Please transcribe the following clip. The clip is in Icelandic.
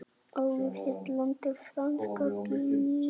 Áður hét landið Franska Gínea.